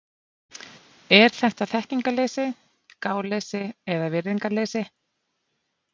Er þetta þekkingarleysi, gáleysi eða virðingarleysi?